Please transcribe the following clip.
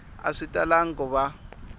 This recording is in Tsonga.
a swi talangi ku va